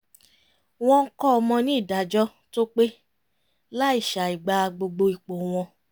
wọ́n ń kọ́ ọmọ ní ìdájọ́ tó pé láì ṣàìgbà gbogbo ipò wọn